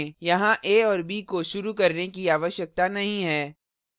यहाँ a और b को शुरू करने की आवश्यकता नहीं है